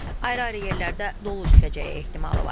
Ayrı-ayrı yerlərdə dolu düşəcəyi ehtimalı var.